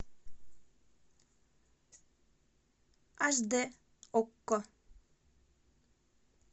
аш д окко